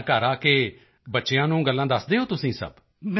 ਤਾਂ ਘਰ ਆ ਕੇ ਬੱਚਿਆਂ ਨੂੰ ਗੱਲਾਂ ਦੱਸਦੇ ਹੋ ਤੁਸੀਂ ਸਭ